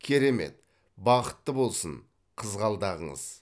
керемет бақытты болсын қызғалдағыңыз